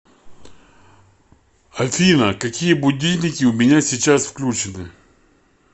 афина какие будильники у меня сейчас включены